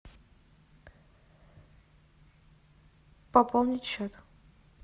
пополнить счет